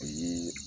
O ye